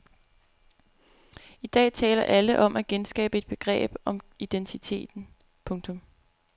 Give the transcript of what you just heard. I dag taler alle om at genskabe et begreb om identiteten. punktum